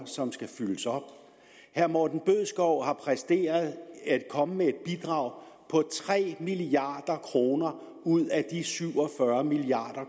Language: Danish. som skal fyldes op herre morten bødskov har præsteret at komme med et bidrag på tre milliard kroner ud af de syv og fyrre milliard